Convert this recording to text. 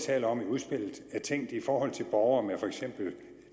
taler om i udspillet er tænkt i forhold til borgere med fx